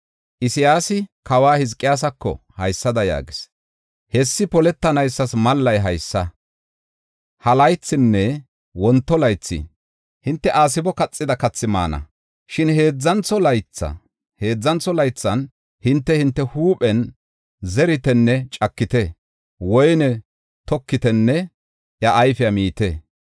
Isayaasi kawa Hizqiyaasako haysada yaagis. “Hessi poletanaysas mallay haysa; ha laythinne wonto laythi hinte aasebo kaxida kathi maana. Shin heedzantho laythan hinte, hinte huuphen zeritenne cakite; woyne tokitenne iya ayfiya miite.